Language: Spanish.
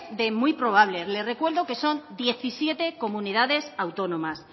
de muy probable le recuerdo que son diecisiete comunidades autónomas